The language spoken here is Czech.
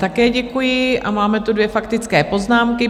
Také děkuji a máme tu dvě faktické poznámky.